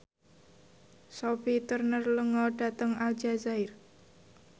Sophie Turner lunga dhateng Aljazair